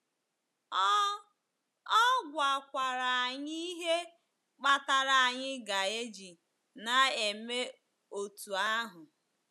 Ọ Ọ gwakwara anyị ihe kpatara anyị ga-eji na-eme otú ahụ.